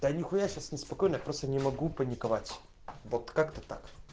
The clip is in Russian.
да нехуя сейчас неспокойно просто не могу паниковать вот как-то так